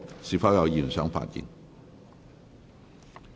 是否有議員想發言？